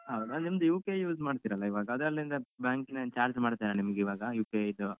ಹೌದ ನಿಮ್ದು UPI use ಮಾಡ್ತಿರಲ್ಲ ಇವಾಗ ಅದ್ರಲ್ಲಿಂದ UPI ನ charge ಮಾಡ್ತಾರ ನಿಮ್ಗೀವಾಗ UPI ಯಿದ್ದು.